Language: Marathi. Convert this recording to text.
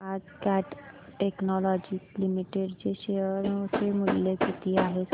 आज कॅट टेक्नोलॉजीज लिमिटेड चे शेअर चे मूल्य किती आहे सांगा